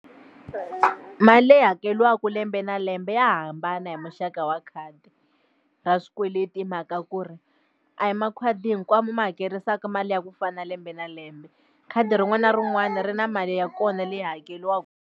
Mali leyi hakeriwaka lembe na lembe ya hambana hi muxaka wa khadi ra swikweleti hi mhaka ku ri a hi makhadi hinkwawo ma hakerisaka mali ya ku fana na lembe na lembe khadi rin'wana na rin'wana ri na mali ya kona leyi hakeriwa.